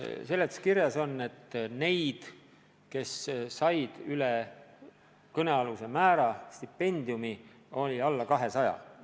Seletuskirja kohaselt on neid, kes said stipendiumi üle kõnealuse määra, veidi alla 200.